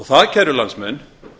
það kæru landsmenn